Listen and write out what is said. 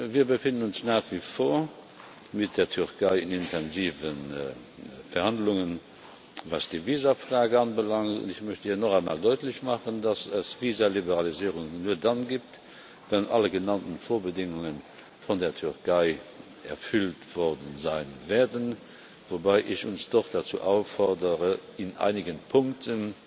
Wir befinden uns nach wie vor mit der Türkei in intensiven Verhandlungen, was die Visafrage anbelangt. Ich möchte hier noch einmal deutlich machen, dass es eine Visaliberalisierung nur dann gibt, wenn alle genannten Vorbedingungen von der Türkei erfüllt werden, wobei ich uns doch dazu auffordere, in einigen Punkten